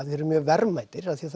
þeir eru mjög verðmætir af því að